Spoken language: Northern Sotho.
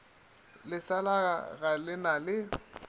leselaga ga le na le